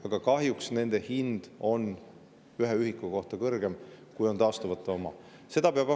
Aga kahjuks nende hind on ühe ühiku kohta kõrgem, kui on taastuvate oma.